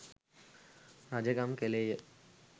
රජකම් කළේය.